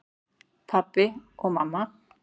Pabbi og mamma